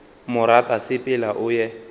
mo rata sepela o ye